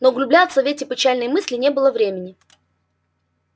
но углубляться в эти печальные мысли не было времени